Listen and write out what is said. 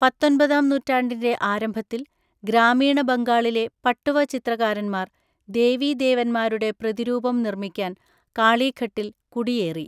പത്തൊൻപതാം നൂറ്റാണ്ടിന്റെ ആരംഭത്തിൽ ഗ്രാമീണ ബംഗാളിലെ പട്ടുവ ചിത്രകാരന്മാർ ദേവീദേവന്മാരുടെ പ്രതിരൂപം നിർമ്മിക്കാൻ കാളീഘട്ടിൽ കുടിയേറി.